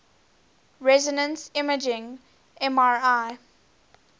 resonance imaging mri